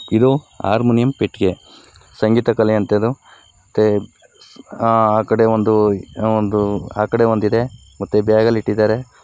ಇದು ಹಾರ್ಮೋನಿಯಂ ಪೆಟ್ಗೆ. ಸಂಗೀತ ಕಲೆ ಅಂತ ಇದು ಮತ್ತೆ ಅಹ್ ಆ ಕಡೆ ಒಂದು ಏನೋ ಒಂದು ಇದೆ ಮತ್ತೆ ಬ್ಯಾಗಲ್ ಇಟ್ಟಿದಾರೆ.